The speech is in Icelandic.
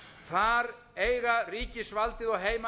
þar eiga ríkisvaldið og heimamenn að